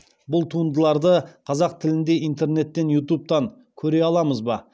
бұл туындыларды қазақ тілінде интернеттен ютубтан көре аламыз ба